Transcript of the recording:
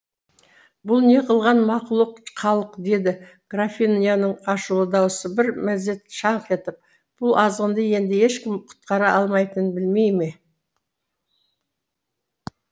бұл не қылған мақұлық халық деді графиняның ашулы дауысы бір мезет шаңқ етіп бұл азғынды енді ешкім құтқара алмайтынын білмей ме